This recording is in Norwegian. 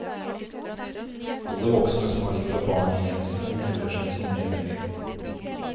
Alle voksne som har litt av barnet igjen i seg, melder seg som medeiere.